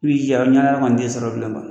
I b'i jija o ɲɔgɔnna wɛrɛkɔni t'i sɔrɔ bilen